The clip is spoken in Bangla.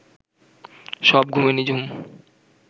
সব ঘুমে নিঝুম